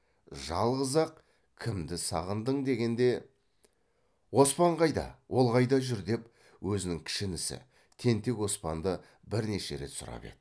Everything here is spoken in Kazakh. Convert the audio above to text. жалғыз ақ кімді сағындың дегенде оспан қайда ол қайда жүр деп өзінің кіші інісі тентек оспанды бірнеше рет сұрап еді